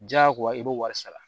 Diyagoya i b'o wari sara